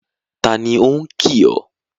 Taàní ó kìì ọ?